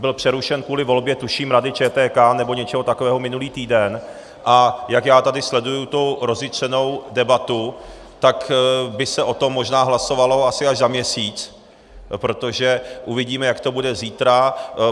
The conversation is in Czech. Byl přerušen kvůli volbě, tuším, Rady ČTK nebo něčeho takového minulý týden, a jak já tady sleduju tu rozjitřenou debatu, tak by se o tom možná hlasovalo asi až za měsíc, protože uvidíme, jak to bude zítra.